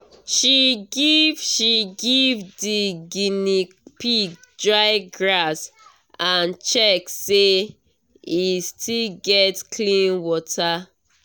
she give she give the guinea pig dry grass and check say e still get clean water.